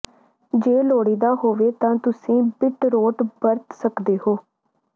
ਜੇ ਲੋੜੀਦਾ ਹੋਵੇ ਤਾਂ ਤੁਸੀਂ ਬੀਟਰੋਟ ਵਰਤ ਸਕਦੇ ਹੋ